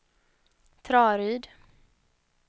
Traryd